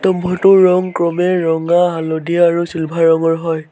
ক্ৰমে ৰঙা হালধীয়া আৰু চিলভাৰ ৰঙৰ হয়।